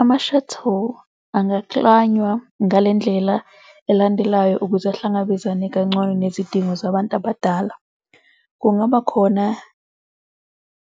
Ama-shuttle angaklanywa ngale ndlela elandelayo ukuze ahlangabezane kangcono nezidingo zabantu abadala. Kungaba khona